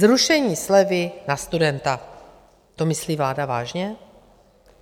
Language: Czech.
Zrušení slevy na studenta - to myslí vláda vážně?